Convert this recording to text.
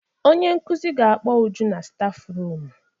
Onye nkuzi ga-akọ Uju na stafrum.